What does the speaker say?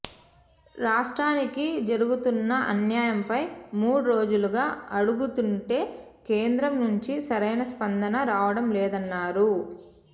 రాష్ట్రానికి జరుగుతున్న అన్యాయంపై మూడు రోజులుగా అడుగుతుంటే కేంద్రం నుంచి సరైన స్పందన రావడం లేదన్నారు